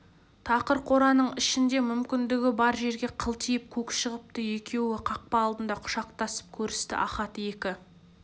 тақыр қораның ішінде мүмкіндігі бар жерге қылтиып көк шығыпты екеуі қақпа алдында құшақтасып көрісті ахат екі